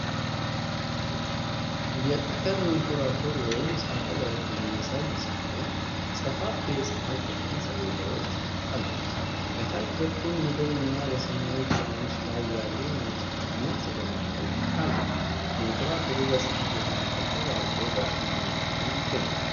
የጠፈር መንኮራኩር ወይም ሳተላይት የሚያሳይ ሲሆን፣ ሰፋፊ የፀሐይ ብርሃን ሰሌዳዎች አሉት። ከታች በኩል ምድር እና በሰማያዊ ውቅያኖስ ላይ ያሉ ነጭ ደመናዎች አሉ። መንኮራኩሩ በፀሐይ ብርሃን ተንፀባርቆ በጥሩ ሁኔታ ላይ ይገኛል።